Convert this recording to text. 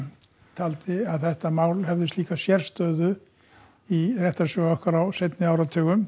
taldi að þetta mál hefði slíka sérstöðu í réttarsögu okkar á seinni áratugum